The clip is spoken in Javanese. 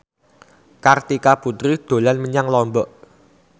Kartika Putri dolan menyang Lombok